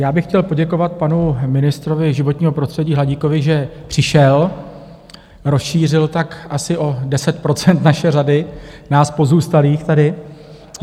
Já bych chtěl poděkovat panu ministrovi životního prostředí Hladíkovi, že přišel, rozšířil tak asi o 10 % naše řady, nás pozůstalých tady.